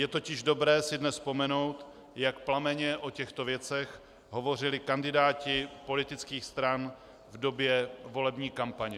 Je totiž dobré si dnes vzpomenout, jak plamenně o těchto věcech hovořili kandidáti politických stran v době volební kampaně.